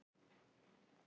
Hvað er í gangi hérna